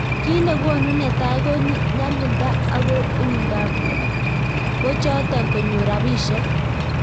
Kiit negonuu netai ko nyalilda ak uindop pochotok konyor rapisiek